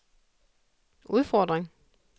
udfordring